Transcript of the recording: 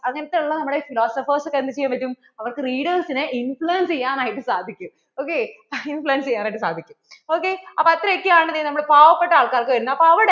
അങ്ങനത്തെ ഉള്ള നമ്മളെ philosophers ക്ക് എന്ത് ചെയ്യാൻ പറ്റും അവർക്കു readers നെ influence ചെയ്യാനായിട്ട് സാധിക്കും ok influence ചെയ്യാൻ ആയിട്ട് സാധിക്കും ok അപ്പോ അത്രക്ക് ആണ് നമ്മളെ പാവപെട്ട ആള്‍ക്കാര്‍ക്ക് വരുന്നേ അപ്പോൾ അവിടെ